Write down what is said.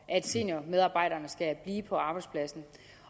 at seniormedarbejderne skal blive på arbejdspladsen